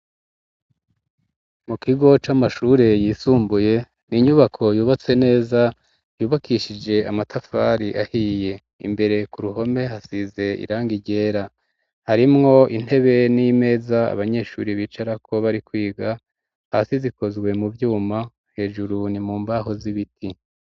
Mu kigo c'amashure yisumbuye ni inyubako yubatse neza, yubakishije amatafari ahiye. Imbere k'uruhome hasize irangi ryera. Harimwo intebe n'imeza abanyeshuri bicarako bari kwiga. Hasi zikozwe mu vyuma, hejuru ni mu mbaho z'ibiti.